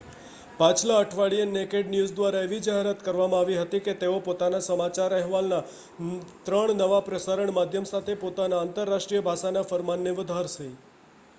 પાછલા અઠવાડિયે Naked News દ્વારા એવી જાહેરાત કરવામાં આવી હતી કે તેઓ પોતાના સમાચાર અહેવાલના 3 નવા પ્રસારણ માધ્યમ સાથે પોતાના આંતરરાષ્ટ્રીય ભાષાના ફરમાનને વધારશે